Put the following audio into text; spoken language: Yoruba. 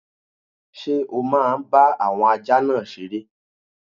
Ṣé o máa bá àwọn ajá náà seré?